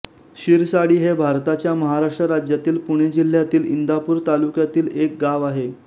शिरसाडी हे भारताच्या महाराष्ट्र राज्यातील पुणे जिल्ह्यातील इंदापूर तालुक्यातील एक गाव आहे